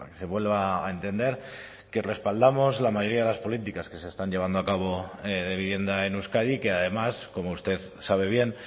se vuelva a entender que respaldamos la mayoría de las políticas que se están llevando a cabo de vivienda en euskadi y que además como usted sabe bien